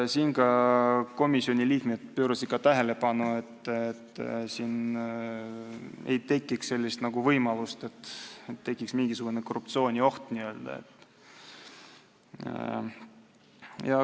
Komisjoni liikmed pöörasid tähelepanu sellele, et siin võib tekkida võimalus mingisuguseks korruptsiooniohuks.